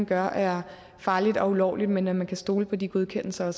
gør er farligt og ulovligt men at man kan stole på de godkendelser